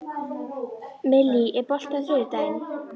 Millý, er bolti á þriðjudaginn?